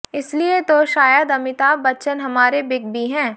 इसलिए तो शायद अमिताभ बच्चन हमारे बिग बी हैं